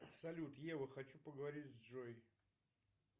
салют ева хочу поговорить с джой